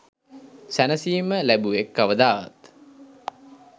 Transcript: සැනසිම ලැබුවෙක් කවදාවත්